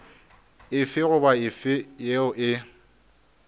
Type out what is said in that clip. efe goba efe yeo e